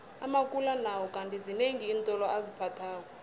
amakula nawo kandi zinengi iintolo aziphathako